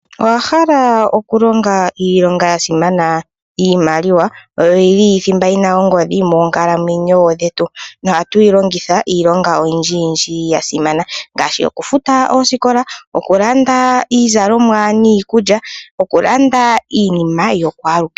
Owa hala okulonga iilonga ya simana, iimaliwa oyo yili thimba ena ongodhi moonkalamwenyo dhetu noha twiilongitha iilonga oyindji yindji yasimana ngashi okufuta osikola, okulanda iizalomwa niikulya nokulanda iinima ya kwalukehe.